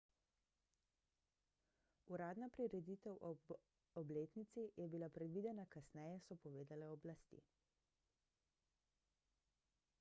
uradna prireditev ob obletnici je bila predvidena kasneje so povedale oblasti